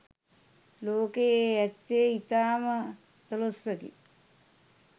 ලෝකයේ ඇත්තේ ඉතාම අතලොස්සකි